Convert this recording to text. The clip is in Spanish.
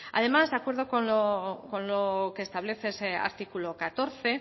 además de acuerdo con lo que establece ese artículo catorce